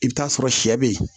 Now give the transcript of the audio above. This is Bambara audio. I bɛ t'a sɔrɔ sɛ be yen